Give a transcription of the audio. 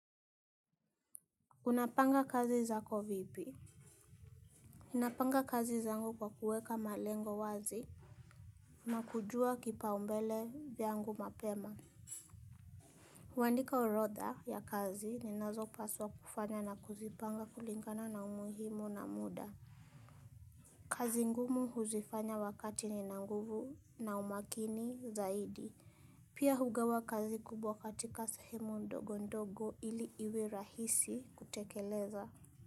Unapanga kazi zako vipi napanga kazi zangu kwa kuweka malengo wazi na kujua kipaumbele yangu mapema huandika orodha ya kazi ninazopaswa kufanya na kuzipanga kulingana na umuhimu na muda. Kazi ngumu huzifanya wakati nina nguvu na umakini zaidi. Pia hugawa kazi kubwa katika sehemu ndogo ndogo ili iwe rahisi kutekeleza.